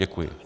Děkuji.